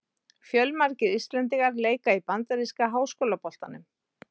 Fjölmargir íslendingar leika í bandaríska háskólaboltanum.